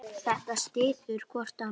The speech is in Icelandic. Þetta styður hvort annað.